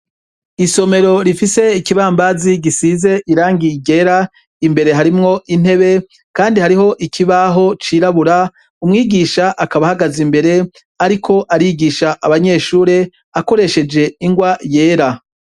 Isomero rifise ikibambazi gisize irangi ryera imbere harimwo intebe kandi hariho ikibaho cirabura umwigisha akaba ahagaze imbere ariko arigisha abanyeshure akoresheje ingwa yera